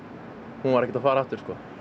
hún var ekki að fara aftur